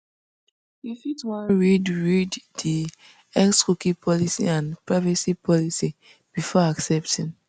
you fit wan read read di xcookie policy and privacy policy befor accepting